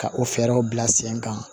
Ka o fɛɛrɛw bila sen kan